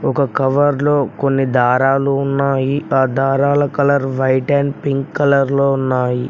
ఒక కవర్లో కొన్ని దారాలు ఉన్నాయి ఆ దారాలు colour white and pink colour లో ఉన్నాయి.